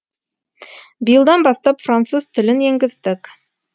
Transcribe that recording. биылдан бастап француз тілін енгіздік